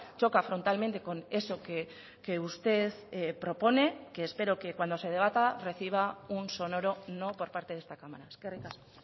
choca frontalmente con eso que usted propone que espero que cuando se debata reciba un sonoro no por parte de esta cámara eskerrik asko